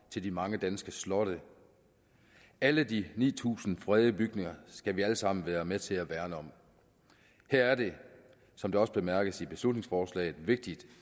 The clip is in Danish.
til de mange danske slotte alle de ni tusind fredede bygninger skal vi alle sammen være med til at værne om her er det som det også bemærkes i beslutningsforslaget vigtigt